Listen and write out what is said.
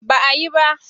Ba a yi ba.